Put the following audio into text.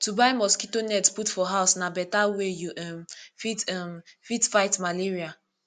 to buy mosquito net put for house na beta way you um fit um fit fight malaria